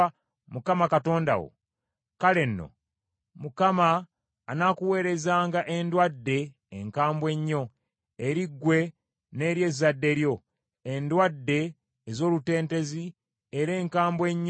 kale nno, Mukama anaakuweerezanga endwadde enkambwe ennyo, eri ggwe n’eri ezzadde lyo; endwadde ez’olutentezi era enkambwe ennyo ez’olukonvuba.